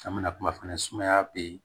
An bɛna kuma fana sumaya bɛ yen